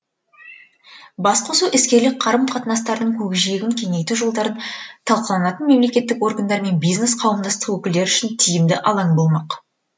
басқосу іскерлік қарым қатынастардың көкжиегін кеңейту жолдары талқыланатын мемлекеттік органдар мен бизнес қауымдастық өкілдері үшін тиімді алаң болмақ